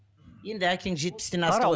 енді әкең жетпістен асты ғой